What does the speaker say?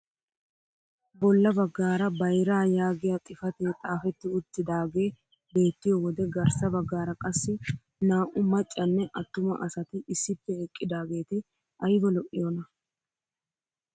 Bolla baggaara bayraa yaaggiyaa xifatee xaafetti uttidagee beettiyoo wode garssa baggaara qassi naa"u maccanne attuma asati issippe eqqidaageti ayba lo"iyoona!